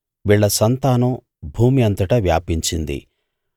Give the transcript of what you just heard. వీళ్ళ సంతానం భూమి అంతటా వ్యాపించింది